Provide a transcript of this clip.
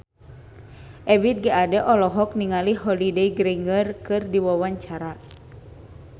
Ebith G. Ade olohok ningali Holliday Grainger keur diwawancara